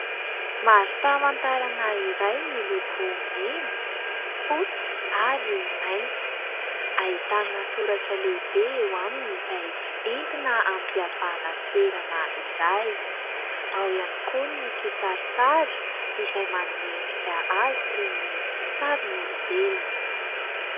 Mari-pamantarana iray miloko mena, fotsy ary mainty. Ahitana soratra lehibe eo aminy izay entina hampihavahana toerana iray. Ao ihany koa ny kisarisary izay manome endrika azy toy ny sarin'olombelona.